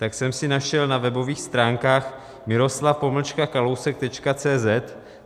Tak jsem si našel na webových stránkách miroslav-kalousek.cz